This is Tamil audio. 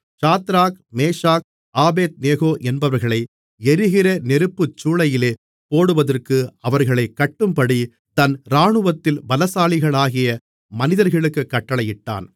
சாத்ராக் மேஷாக் ஆபேத்நேகோ என்பவர்களை எரிகிற நெருப்புச்சூளையிலே போடுவதற்கு அவர்களைக் கட்டும்படி தன் இராணுவத்தில் பலசாலிகளாகிய மனிதர்களுக்குக் கட்டளையிட்டான்